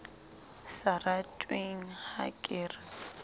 sa ratweng ha ke re